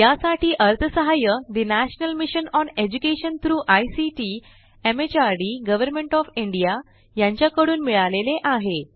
यासाठी अर्थसहाय्य national mission on education through ICT MHRD government O F India यांच्याकडून मिळालेले आहे